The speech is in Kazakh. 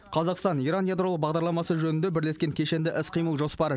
қазақстан иран ядролық бағдарламасы жөнінде бірлескен кешенді іс қимыл жоспары